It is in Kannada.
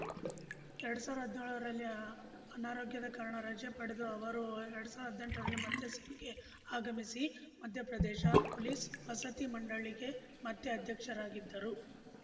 ಎರಡ್ ಸಾವ್ರ ಹದ್ನ್ಯೋಳರಲ್ಲಿ ಅನಾರೋಗ್ಯದ ಕಾರಣ ರಜೆ ಪಡೆದು ಅವರು ಎರಡ್ ಸಾವ್ರ ಹದ್ನೆಂಟರಲ್ಲಿ ಮತ್ತೆ ಸೇವೆಗೆ ಆಗಮಿಸಿ ಮಧ್ಯಪ್ರದೇಶ ಪೊಲೀಸ್‌ ವಸತಿ ಮಂಡಳಿಗೆ ಮತ್ತೆ ಅಧ್ಯಕ್ಷರಾಗಿದ್ದರು